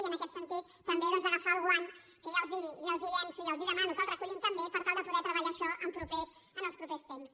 i en aquest sentit també doncs agafar el guant que ja els hi llanço i els demano que el recullin també per tal de poder treballar això en els propers temps